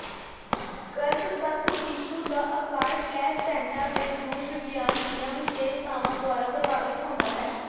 ਗਰੱਭਸਥ ਸ਼ੀਸ਼ੂ ਦਾ ਆਕਾਰ ਪਲੈਸੈਂਟਾ ਦੇ ਰੂਪ ਵਿਗਿਆਨ ਦੀਆਂ ਵਿਸ਼ੇਸ਼ਤਾਵਾਂ ਦੁਆਰਾ ਪ੍ਰਭਾਵਿਤ ਹੁੰਦਾ ਹੈ